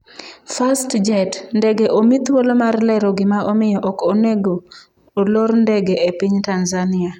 Fastjet: Ndege omi thuolo mar lero gima omiyo ok onego olor ndege e piny Tanzania